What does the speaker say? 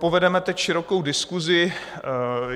Povedeme teď širokou diskusi.